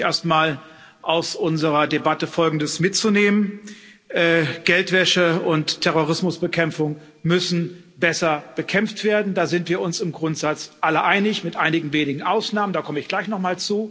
Ich freue mich, erst einmal aus unserer Debatte Folgendes mitzunehmen Geldwäsche und Terrorismus müssen besser bekämpft werden. Da sind wir uns im Grundsatz alle einig mit einigen wenigen Ausnahmen, dazu komme ich gleich noch.